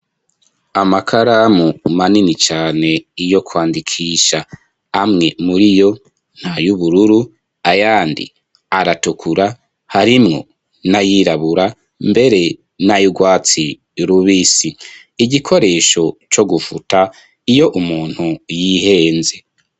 Amakaramu manini cane yo kwandikisha amwe muri yo n'ayubururu ayandi aratukura harimwo n'ayirabura mbere n'ayurwatsi rubisi igikoresho co gufuta iyo umuntu yihenze.